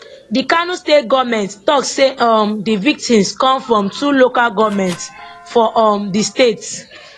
di kano state goment tok say um di victims come from two local goments for um di state